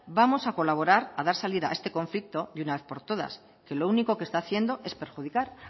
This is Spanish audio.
vamos a colaborar a dar salida a este conflicto de una vez por todas que lo único que está haciendo es perjudicar